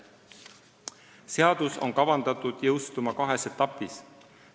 Seadus on kavandatud jõustuma kahes etapis.